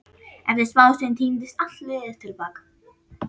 Eftir smástund tíndist allt liðið til baka.